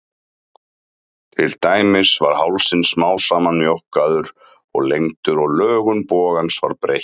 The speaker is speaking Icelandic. Til dæmis var hálsinn smám saman mjókkaður og lengdur og lögun bogans var breytt.